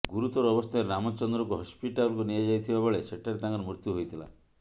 ଗୁରୁତର ଅବସ୍ଥାରେ ରାମଚନ୍ଦ୍ରଙ୍କୁ ହସ୍ପିଟାଲକୁ ନିଆଯାଇଥିବା ବେଳେ ସେଠାରେ ତାଙ୍କର ମୃତ୍ୟୁ ହୋଇଥିଲା